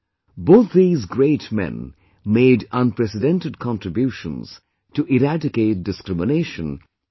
Both these great men made unprecedented contributions to eradicate discrimination from society